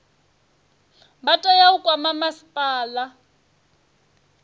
vha tea u kwama masipala